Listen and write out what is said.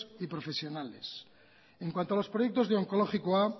y profesionales en cuanto a los proyectos de onkologikoa